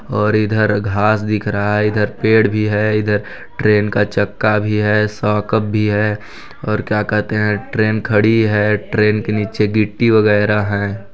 और इधर घास दिख रहा है इधर पेड़ भी है इधर ट्रेन का चक्का भी है सोकप भी है और क्या कहते है ?ट्रेन खड़ी है ट्रेन के नीचे गिट्टी वगैरह हैं।